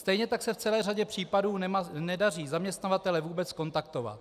Stejně tak se v celé řadě případů nedaří zaměstnavatele vůbec kontaktovat.